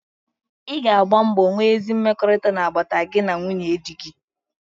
Ị ga agba mbọ nwee ezi mmekọrịta n'agbata gị na nwunye dị gị.